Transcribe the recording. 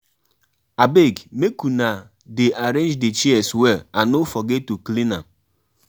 how you plan to pay the DJ wey go perform for di Christmas carol